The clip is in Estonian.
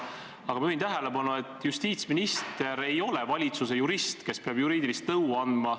Aga ma juhin tähelepanu, et justiitsminister ei ole valitsuse jurist, kes peab juriidilist nõu andma.